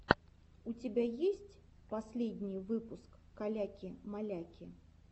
у тебя есть последний выпуск каляки маляки